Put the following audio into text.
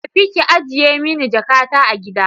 Tafi ki ajiye mani jakata a gida!